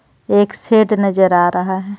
एक शेड नजर आ रहा है.